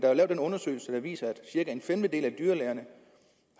er lavet en undersøgelse der viser at cirka en femtedel af dyrlægerne